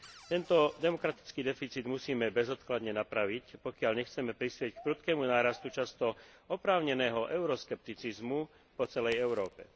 Tento demokratický deficit musíme bezodkladne napraviť, pokiaľ nechceme prispieť k prudkému nárastu často oprávneného euroskepticizmu po celej Európe.